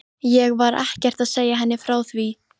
Ég var ekkert að segja henni frá því.